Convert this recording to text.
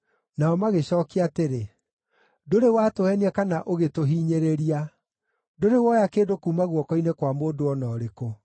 Nao magĩcookia atĩrĩ, “Ndũrĩ watũheenia kana ũgĩtũhinyĩrĩria; ndũrĩ woya kĩndũ kuuma guoko-inĩ kwa mũndũ o na ũrĩkũ.”